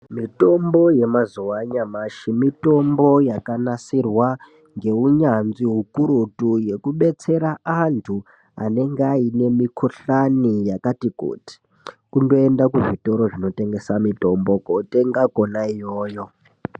Mitombo yemazuwa anyamashi mitombo yakanasirwa ngeunyanzvi ukurutu yekubetsera antu anenge aine mikohlani yakati kuti, kundoenda kuzvitoro zvinotengesa mitombo kotenga kona iyoyo.